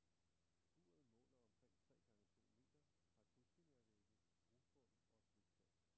Skuret måler omkring tre gange to meter, har krydsfinervægge, grusbund og et bliktag.